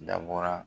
Dabɔra